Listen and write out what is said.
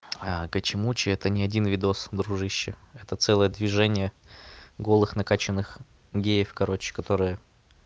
гачимучи это не один видос дружище это целое движение голых накаченных геев короче которые